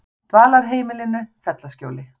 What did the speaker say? Dvalarheimilinu Fellaskjóli